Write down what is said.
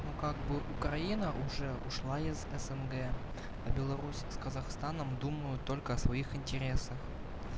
ну как бы украина уже ушла из снг а беларусь с казахстаном думаю только о своих интересах